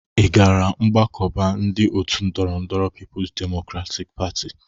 Ị gara mgbakọba ndị ọtu ndọrọndọrọ Pipu's Demokratik Pati?